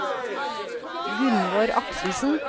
Gunnvor Akselsen